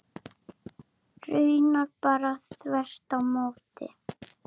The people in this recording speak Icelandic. Raunar bara þvert á móti.